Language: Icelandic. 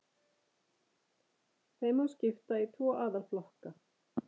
Þeim má skipta í tvo aðalflokka